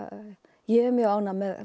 ég er mjög ánægð með